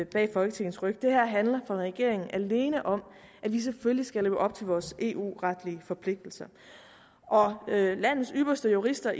bag folketingets ryg det handler for regeringen alene om at vi selvfølgelig skal leve op til vores eu retlige forpligtelser landets ypperste jurister